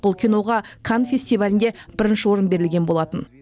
бұл киноға канн фестивалінде бірінші орын берілген болатын